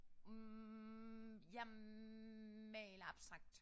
Hm jeg maler abstrakt